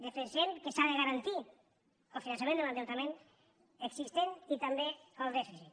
defensem que s’ha de garantir el finançament de l’endeutament existent i també el dèficit